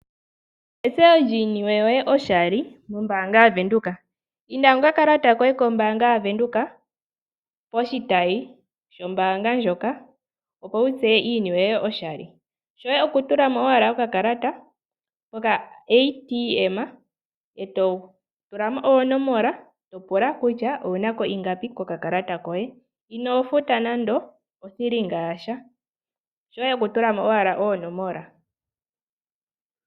Etseyo lyiiniwe yoye oshali mombaanga yaVenduka. Inda nokakalata koye kombaanga yaVenduka poshitayi shombaanga ndjoka, opo wu tseye iiniwe yoye oshali. Shoye okutula mo owala okakalata mokaATM e to tula mo oonomola to pulakutya owu na ko ingapi kokakalata koye inoo futa nando othilinga yasha. Shoye okutula mo owala oonomola.